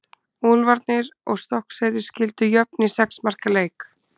Úlfarnir og Stokkseyri skildu jöfn í sex marka leik.